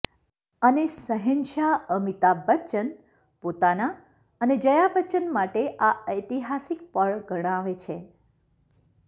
અને શહેનશાહ અમિતાભ બચ્ચન પોતાના અને જયા બચ્ચન માટે આ ઐતિહાસિક પળ ગણાવે છે